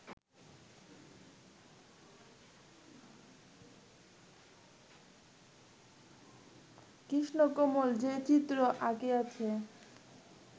কৃষ্ণকমল যে চিত্র আঁকিয়াছেন